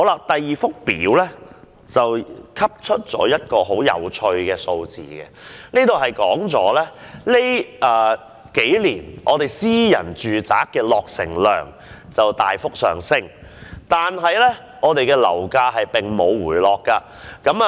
第二幅圖表可提供一些很有趣的數字，顯示本港近年的私營住宅落成量大幅上升，但樓價並無回落。